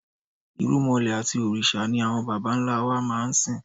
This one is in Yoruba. Irúmọlẹ̀ àti òrìṣà ni àwọn bàbá ńlá wa máa ń sìn.